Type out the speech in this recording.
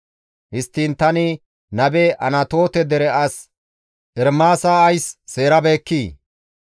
Histtiin, ‹Tani nabe› Anatoote dere as Ermaasa ays seerabekkii?